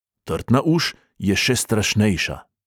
Trtna uš je še strašnejša.